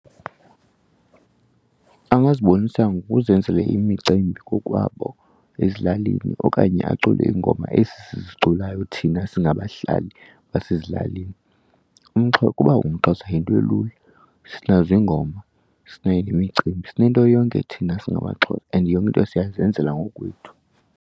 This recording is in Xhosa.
Angazibonisa ngokuzenzela imicimbi kokwabo ezilalini okanye acule iingoma ezi siziculayo thina singabahlali basezilalini. Ukuba ungumXhosa yinto elula, sinazo iingoma, sinayo nemicimbi. Sinento yonke thina singamaXhosa and yonke into siyazenzela ngoku kwethu.